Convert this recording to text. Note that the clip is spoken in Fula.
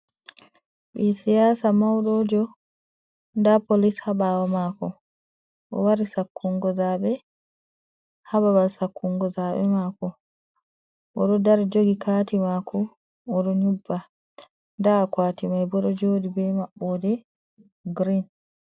Ɓii siyasa maiɗojo, nda polis ha ɓawo makoo, owari sakkungo zaɓe ha babal sakungo zaɓe maako. Oɗo dari joogi kaati mako oɗon nƴobba, nda akwati mai bo ɗo jooɗi be maɓɓode giriin.